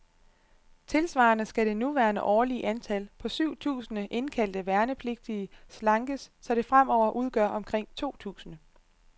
Tilsvarende skal det nuværende årlige antal, på syv tusinde indkaldte værnepligtige, slankes, så det fremover udgør omkring to tusinde.